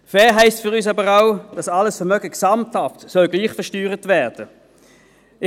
Fair heisst für uns aber auch, dass alles Vermögen gesamthaft gleich versteuert werden soll.